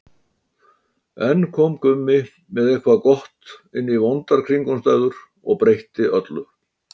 Enn kom Gummi með eitthvað gott inn í vondar kringumstæður og breytti öllu.